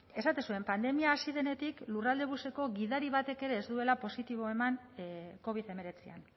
esaten zuen pandemia hasi denetik lurraldebuseko gidari batek ere ez duela positibo eman covid hemeretzian